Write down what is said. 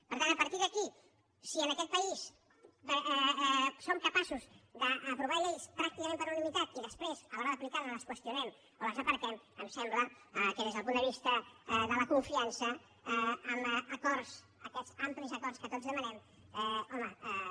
per tant a partir d’aquí si en aquest país som capaços d’aprovar lleis pràcticament per unanimitat i després a l’hora d’aplicar les les qüestionem o les aparquem em sembla que des del punt de vista de la confiança en acords aquests amplis acords que tots demanem home